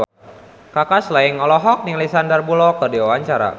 Kaka Slank olohok ningali Sandar Bullock keur diwawancara